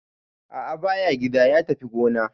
A'a ba ya gida, ya tafi gona.